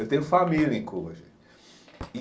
Eu tenho família em Cuba, gente e.